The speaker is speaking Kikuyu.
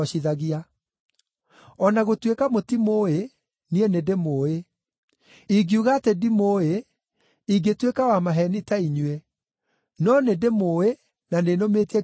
O na gũtuĩka mũtimũũĩ, niĩ nĩndĩmũũĩ. Ingiuga atĩ ndimũũĩ, ingĩtuĩka wa maheeni ta inyuĩ, no nĩndĩmũũĩ na nĩnũmĩtie kiugo gĩake.